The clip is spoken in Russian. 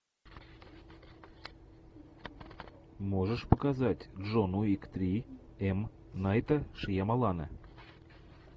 можешь показать джон уик три м найта шьямалана